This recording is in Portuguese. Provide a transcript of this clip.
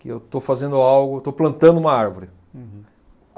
Que eu estou fazendo algo, eu estou plantando uma árvore. Uhum.